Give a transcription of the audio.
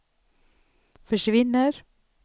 försvinner